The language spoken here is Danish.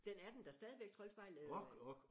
Den er den der stadigvæk Troldspejlet øh?